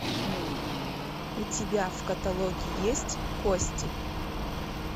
у тебя в каталоге есть кости